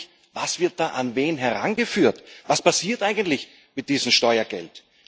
Ich frage mich Was wird da an wen herangeführt? Was passiert eigentlich mit diesem Steuergeld?